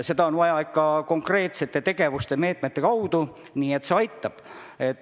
Seda on vaja teha ikka konkreetsete tegevuste, konkreetsete meetmete abil, siis see aitab.